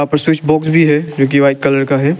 Switch box भी है जो की वाइट कलर का है।